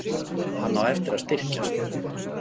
Hann á eftir að styrkjast.